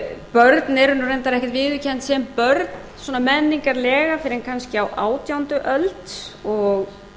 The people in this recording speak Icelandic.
börn eru reyndar ekkert viðurkennd sem börn svona menningarlega fyrr en kannski á átjándu öld og